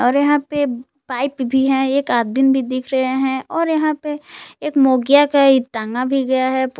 अरे यहां पे पाइप भी है एक आदमीन भी दिख रहे हैं और यहां पे एक मोंगिया का टांगा भी गया है।